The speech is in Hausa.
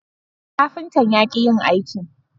Kafintan ya ki yin aikin